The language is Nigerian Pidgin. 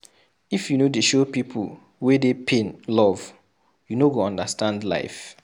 If you no dey show pipu wey dey pain love, you no go understand life.